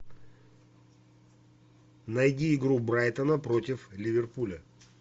найди игру брайтона против ливерпуля